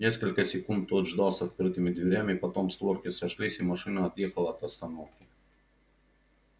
несколько секунд тот ждал с открытыми дверями потом створки сошлись и машина отъехала от остановки